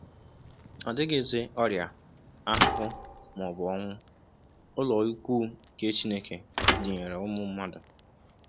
Ọdizighị ọrịa, ahụhụ, ma ọ bụ onwu: “Ụlọikwuu nke Chineke dịnyeere ụmụ mmadụ...